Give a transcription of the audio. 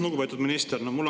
Lugupeetud minister!